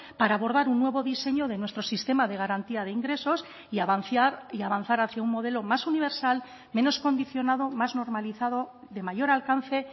para abordar un nuevo diseño de nuestro sistema de garantía de ingresos y avanciar y avanzar hacia un modelo más universal menos condicionado más normalizado de mayor alcance